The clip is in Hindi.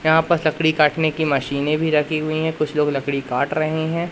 यहां पस लकड़ी काटने की मशीने भी रखी हुई है कुछ लोग लकड़ी काट रहे हैं।